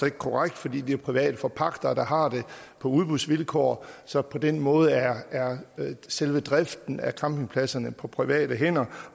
ikke korrekt fordi det er private forpagtere der har det på udbudsvilkår så på den måde er er selve driften af campingpladserne på private hænder